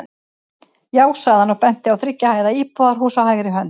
Já, sagði hann og benti á þriggja hæða íbúðarhús á hægri hönd.